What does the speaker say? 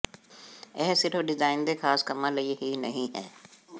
ਇਹ ਸਿਰਫ ਡਿਜ਼ਾਈਨ ਦੇ ਖਾਸ ਕੰਮਾਂ ਲਈ ਹੀ ਨਹੀਂ ਹੈ